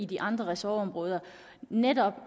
de andre ressortområder netop